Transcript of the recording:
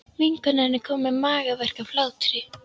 Vinkonan er komin með magaverk af hlátri.